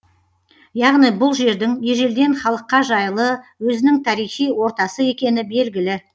яғни бұл жердің ежелден халыққа жайлы өзінің тарихи ортасы екені белгілі